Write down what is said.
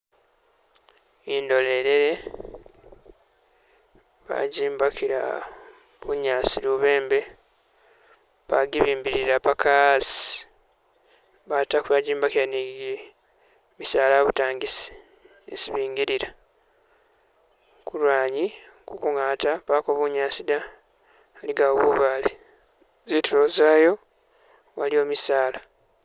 Indolelele bajimbakila bunyaasi lubembe, bagibimbilila paka hasi, batako bajimbakila ni gimisala abutangisi isi bingilila. Kulwaanyi kukungata pako bunyaasi da aligawo bubale zitulo zayo waliwo misala.